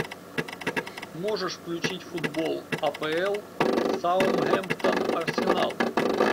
можешь включить футбол апл саутгемптон арсенал